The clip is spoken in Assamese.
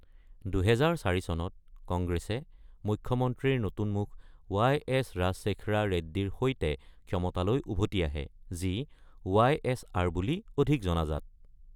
২০০৪ চনত, কংগ্ৰেছে মুখ্যমন্ত্ৰীৰ নতুন মুখ ৱাইএছ ৰাজশেখাৰা ৰেড্ডীৰ সৈতে ক্ষমতালৈ উভতি আহে, যি ৱাইএছআৰ বুলি অধিক জনাজাত।